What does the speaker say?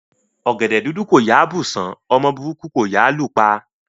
Ọgẹdẹ dúdú kò yáa bù ṣán; ọmọ burúkú kò yáa lù pa.